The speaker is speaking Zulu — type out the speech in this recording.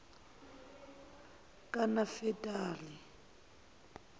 kanafetali